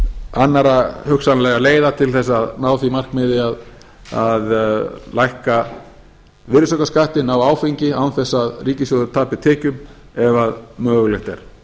annarra hugsanlegra leiða til þess að ná því markmiði að lækka virðisaukaskattinn á áfengi án þess að ríkissjóður tapi tekjum ef mögulegt er